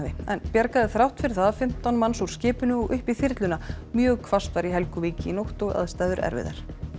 en bjargaði þrátt fyrir það fimmtán manns úr skipinu og upp í þyrluna mjög hvasst var í Helguvík í nótt og aðstæður erfiðar